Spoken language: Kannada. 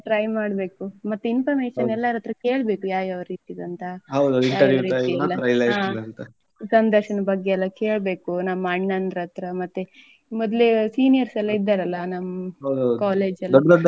Try ಮಾಡ್ಬೇಕು ಮತ್ತೆ information ಎಲ್ಲರತ್ರ ಕೇಳ್ಬೇಕು ಯಾವ್ ಯಾವ್ ರೀತಿದು ಅಂತ. ಸಂದರ್ಶನದ ಬಗ್ಗೆ ಎಲ್ಲ ಕೇಳ್ಬೇಕು ನಮ್ಮ್ ಅಣ್ಣನ್ದ್ರತ್ರ ಮತ್ತೆ ಮೊದ್ಲೇ seniors ಎಲ್ಲ ಇದ್ದಾರಲ್ಲ ನಮ್ಮ್ college ಎಲ್ಲ.